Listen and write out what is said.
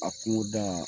A kungoda